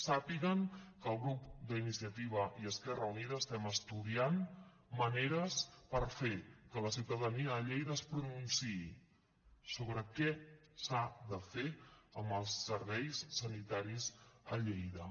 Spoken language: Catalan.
sàpiguen que el grup d’iniciativa i esquerra unida estem estudiant maneres per fer que la ciutadania a lleida es pronunciï sobre què s’ha de fer amb els serveis sanitaris a lleida